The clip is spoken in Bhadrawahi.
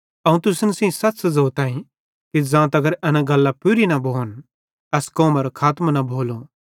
अवं तुसन सेइं सच़ ज़ोताईं कि ज़ां तगर एन गल्लां पूरी न भोन एस कौमरो खातमों न भोलो